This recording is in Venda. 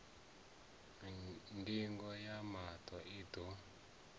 ndingo ya maṱo i ḓo